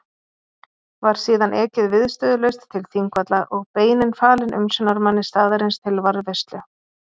Var síðan ekið viðstöðulaust til Þingvalla og beinin falin umsjónarmanni staðarins til varðveislu.